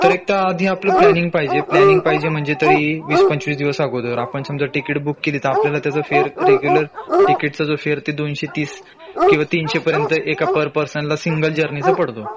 तर एक तर आधी आपला प्लँनिंग पाहिजे प्लॅनिंग पाहिजे म्हंजे तरी वीस पंचवीस दिवस अगोदर आपण समाज तिकीट बुक केली तर आपल्याला त्याचा फेर रेग्युलर तिकिटचा जो फेर ते दोनशे तीस किंवा तीनशे पर्यंत एका पर पर्सन ला सिंगल जर्नी चा पडतो